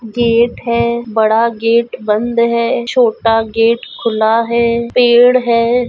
Gate है बड़ा gate बंद है छोटा गेट खुला है पेड़ है।